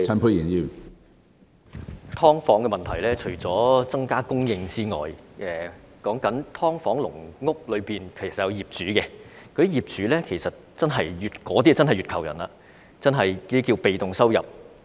關於"劏房"問題，除了增加房屋供應之外，"劏房"和"籠屋"其實也有業主，他們是不折不扣的"月球人"，被動收入可觀。